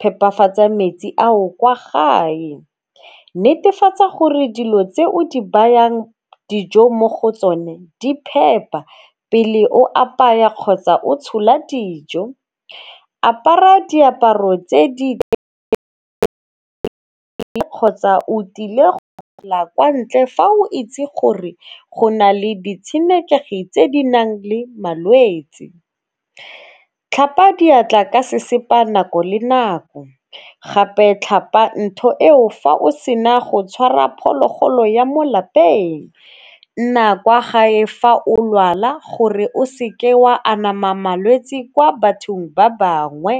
phepafatsa metsi ao kwa gae. Netefatsa gore dilo tse o di bayang dijo mo go tsone di phepa pele o apaya kgotsa o tshola dijo. Apara diaparo tse di kgotsa o tlile go kwa ntle fa o itse gore go na le ditshenekegi tse di nang le malwetsi. Tlhapa diatla ka sesepa nako le nako, gape tlhapa ntho eo fa o sena go tshwara phologolo ya mo lapeng, nna kwa gae fa o lwala gore o seke wa anama malwetsi kwa bathong ba bangwe.